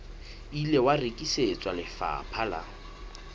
ile wa rekisetswa lefapha la